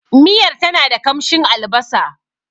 Miyar tana da kamshin albasa.